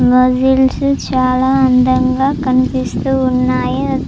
Muscles చాలా అందంగా కనిపిస్తూ ఉన్నాయి.